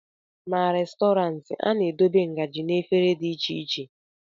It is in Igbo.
na Restọrantị, a na-edobe ngaji na efere iche iche